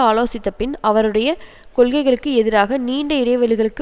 ஆலோசித்தபின் அவருடைய கொள்கைகளுக்கு எதிராக நீண்ட இடைவெளிகளுக்கு